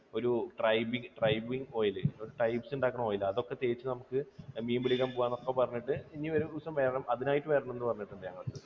ഒരു tribing, tribing oil. ഒരു tribes ഉണ്ടാക്കുന്ന oil അതൊക്കെ തേച്ചു നമുക്ക് മീൻ പിടിക്കാൻ പോകാം എന്നൊക്കെ പറഞ്ഞിട്ട്, ഇനി ഒരു ദിവസം വരണം അതിനായിട്ട് വരണം എന്ന് പറഞ്ഞിട്ടുണ്ട് ഞങ്ങളുടെ അടുത്ത്